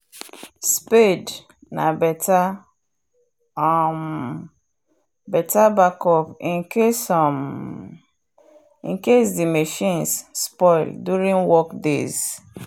spade na better um backup incase um the machines spoil during work days